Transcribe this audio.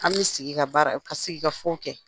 An bɛ sigi ka baara ka sigikafɔ kɛ